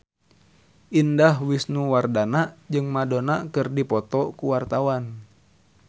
Indah Wisnuwardana jeung Madonna keur dipoto ku wartawan